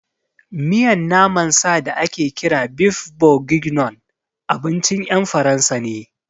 Miyan naman sa da ake kira beef bourguignon abincin ƴan Faransa ne